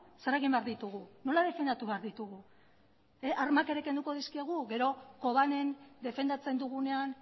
zer egin behar dugu nola defendatu behar ditugu armak ere kenduko dizkiegu gero defendatzen dugunean